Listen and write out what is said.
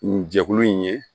Nin jɛkulu in ye